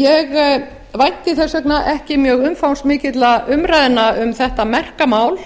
ég vænti þess vegna ekki umræðna um þetta merka mál